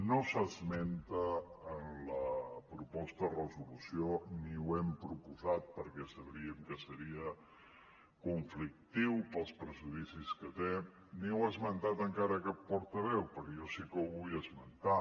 no s’esmenta en la proposta de resolució ni ho hem proposat perquè sabíem que seria conflictiu pels prejudicis que té ni ho ha esmentat encara cap portaveu però jo sí que ho vull esmentar